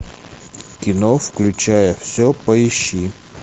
кино включая все поищи